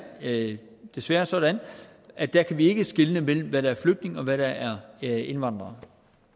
det desværre sådan at der kan vi ikke skelne mellem hvad der flygtninge og hvad der er indvandrere